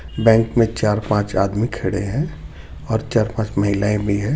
Bank में चार-पांच आदमी खड़े हैं और चार-पांच महिलाएं भी है.